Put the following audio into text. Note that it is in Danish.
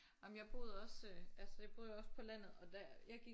Jamen jeg boede også øh altså jeg boede jo også på landet og der jeg gik